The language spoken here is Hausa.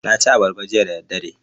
Na ci abarba jiya da daddare.